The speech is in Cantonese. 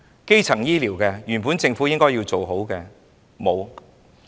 基層醫療，是政府本應做好的，但沒有做好。